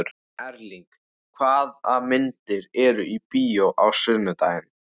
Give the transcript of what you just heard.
Erling, hvaða myndir eru í bíó á sunnudaginn?